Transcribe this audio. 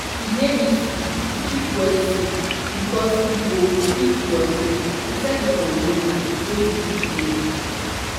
e dey risky to keep wet seed because e go quick rot ten inside di container wey you keep dem.